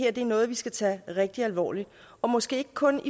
at det er noget vi skal tage rigtig alvorligt og måske ikke kun